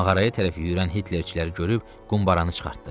Mağaraya tərəf yüyürən hitlerçiləri görüb qumbaranı çıxartdı.